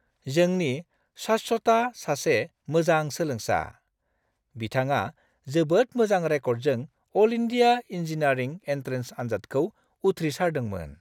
जोंनि शाश्वता सासे मोजां सोलोंसा! बिथाङा जोबोद मोजां रेंकजों अल इन्डिया इंजीनियरिंग एन्ट्रेन्स आनजादखौ उथ्रिसारदोंमोन।